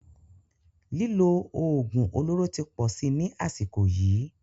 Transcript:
Lílo oògùn olóró tí pọ̀ sí ní àsìkò yìí.